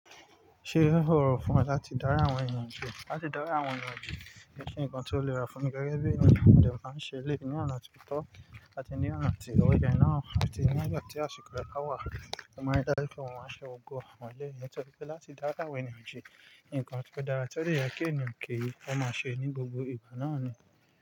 Ṣé ó rọrùn fún wa láti dári àwọn ènìyàn ju? Láti dári àwọn ènìyàn ju, kii ṣe nkan tí ó le ra fún mi gẹ́gẹ́ bí ènìyàn, mo dẹ̀ máa ń ṣe eleyii ni ọ̀nà tí ó tọ́ àti ní ọ̀nà tí ò yẹ náà àti nígbà tí àṣìkò rẹ bá wà, mo máa ń ri dá jú pé mo máa n ṣe gbogbo àwọn eleyii ni torípé láti dári àwọn ènìyàn ji. Ǹkan tí o dára ti o dê yẹ kí ènìyàn ki o máa ṣe ní gbogbo ìgbà náà ni.